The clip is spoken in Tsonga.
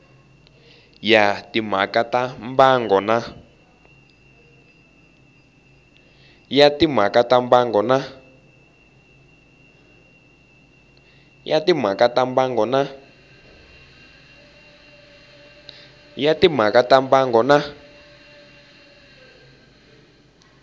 ya timhaka ta mbango na